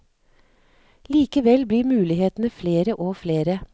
Likevel blir mulighetene flere og flere.